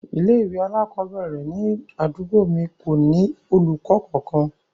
Ilé ìwé alakobere ni àdúgbò mi ko ni olùkọ kankan.